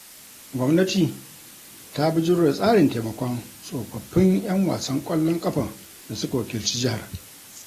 Gwamnati ta bijiro da tsarin taimakon tsofaffin 'yan wasan ƙwallon ƙafan da suka wakilci jihar.